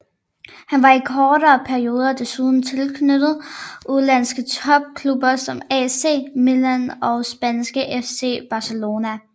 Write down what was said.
Han var i kortere perioder desuden tilknyttet udenlandske topklubber som AC Milan og spanske FC Barcelona